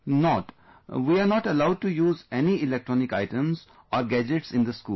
Not, we are not allowed to use any electronic items or gadgets in the school